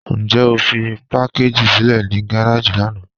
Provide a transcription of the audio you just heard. Njẹ́ o fí pakàgì sílẹ̀ ní gàràjì lànà?